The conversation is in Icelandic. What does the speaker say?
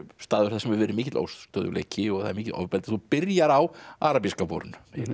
staður þar sem hefur verið mikill óstöðugleiki og það er mikið ofbeldi þú byrjar á arabíska vorinu